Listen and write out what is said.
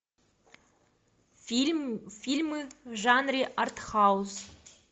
фильм фильмы в жанре артхаус